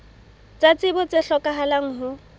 tsa tsebo tse hlokahalang ho